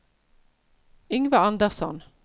Yngve Andersson